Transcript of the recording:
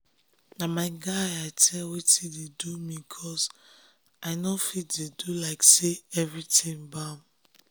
na my guy i tell wetin dey do me cos i nor fit dey do like say everything bam